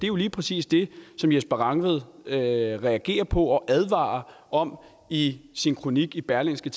jo lige præcis det som jesper rangvid reagerede på og advarede om i sin kronik i berlingske